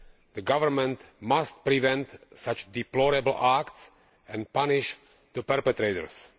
The government must prevent such deplorable acts and punish the perpetrators.